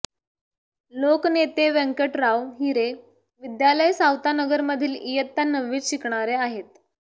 लोकनेते व्यंकटराव हिरे विद्यालय सावतानगरमधील इयत्ता नववीत शिकणारे आहेत